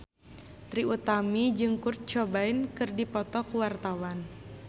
Trie Utami jeung Kurt Cobain keur dipoto ku wartawan